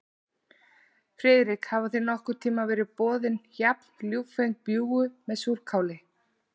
Friðrik, hafa þér nokkurn tíma verið boðin jafn ljúffeng bjúgu með súrkáli?